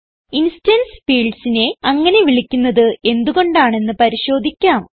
instance fieldsനെ അങ്ങനെ വിളിക്കുന്നത് എന്ത് കൊണ്ടാണെന്ന് പരിശോധിക്കാം